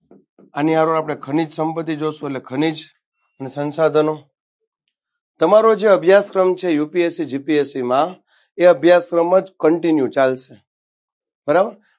અને હરો હરે આપણે ખનીજ સંપતિ જોશું એટલે ખનીજની સંસાધનો તમારો જે અભ્યાસક્રમ છે UPSCGPSC માં એ અભ્યાસક્રમ જ contunue ચાલશે બરાબર